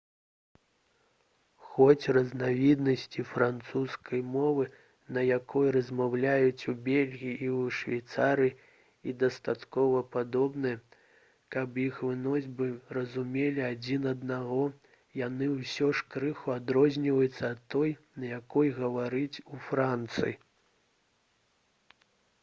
хоць разнавіднасці французскай мовы на якой размаўляюць у бельгіі і ў швейцарыі і дастаткова падобныя каб іх носьбіты разумелі адзін аднаго яны ўсё ж крыху адрозніваюцца ад той на якой гавораць у францыі